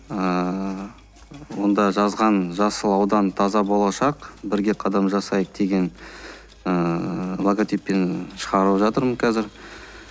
ыыы онда жазған жасыл аудан таза болашақ бірге қадам жасайық деген ыыы логотиппен шығарып жатырмын қазір